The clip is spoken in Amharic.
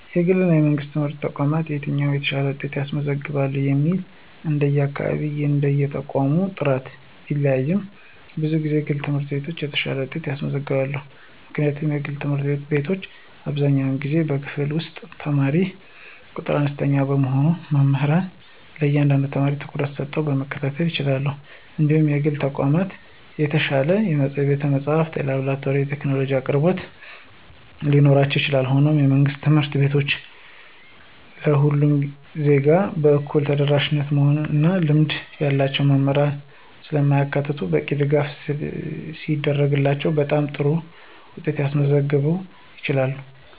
ከግልና ከመንግሥት ትምህርት ተቋማት የትኛው የተሻለ ውጤት ያስገኛል የሚለው እንደየአካባቢውና እንደየተቋሙ ጥራት ቢለያይም፣ ብዙ ጊዜ የግል ትምህርት ቤቶች የተሻለ ውጤት ያስገኛሉ። ምክንያቱም የግል ትምህርት ቤቶች አብዛኛውን ጊዜ በክፍል ውስጥ የተማሪ ቁጥር አነስተኛ በመሆኑ መምህራን ለእያንዳንዱ ተማሪ ትኩረት ሰጥተው መከታተል ይችላሉ እንዲሁም የግል ተቋማት የተሻለ የቤተ-መጻሕፍት፣ የላብራቶሪና የቴክኖሎጂ አቅርቦቶች ሊኖራቸው ይችላል። ሆኖም፣ የመንግሥት ትምህርት ቤቶች ለሁሉም ዜጋ በእኩልነት ተደራሽ በመሆናቸው እና ልምድ ያላቸው መምህራንን ስለሚያካትቱ በቂ ድጋፍ ሲደረግላቸው በጣም ጥሩ ውጤት ማስመዝገብ ይችላሉ።